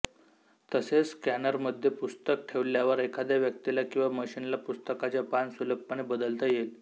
तसेच स्कॅनरमध्ये पुस्तक ठेवल्यावर एखाद्या व्यक्तीला किंवा मशीनला पुस्तकाचे पान सुलभपणे बदलता येईल